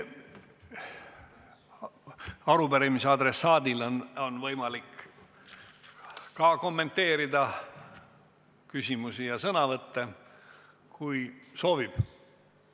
Arupärimise adressaadil on võimalik ka kommenteerida küsimusi ja sõnavõtte, kui ta soovib.